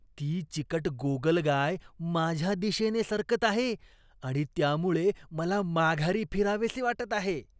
ती चिकट गोगलगाय माझ्या दिशेने सरकत आहे आणि त्यामुळे मला माघारी फिरावेसे वाटत आहे.